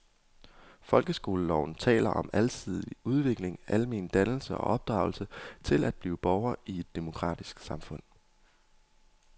Folkeskoleloven taler om alsidig udvikling, almen dannelse og opdragelse til at blive borger i et demokratisk samfund.